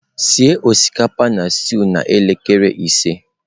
Sie osikapa na stew n'elekere ise.